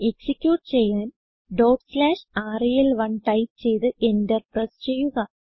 execute ചെയ്യാൻ റെൽ1 type ചെയ്ത് എന്റർ പ്രസ് ചെയ്യുക